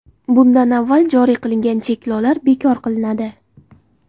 Bunda avval joriy qilingan cheklovlar bekor qilinadi.